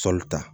Sɔli ta